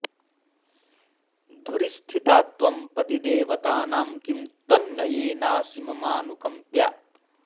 धुरि स्थिता त्वं पतिदेवतानां किं तन्न येनासि ममानुकम्प्या